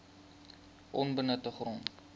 onbenutte grond